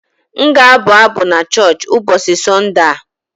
M ga-abụ abụ n'choochi ụbọọchị Sọnde a.